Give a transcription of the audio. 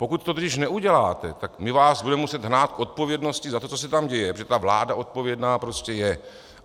Pokud to totiž neuděláte, tak my vás budeme muset hnát k odpovědnosti za to, co se tam děje, protože ta vláda odpovědná prostě je.